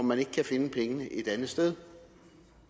man ikke kan finde pengene et andet sted